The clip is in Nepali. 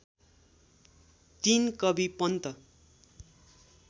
तीन कवि पन्त